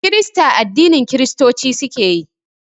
Kirista addinin Kiristoci suke yi